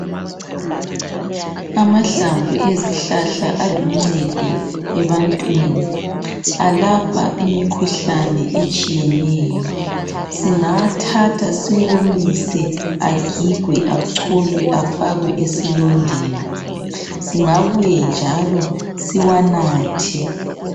Amahlamvu ezihlahla aluncedo ebantwini alapha imikhuhlane etshiyeneyo. Singawathatha siwomise agigwe, acholwe afakwe esilondeni singabuye njalo siwanathe.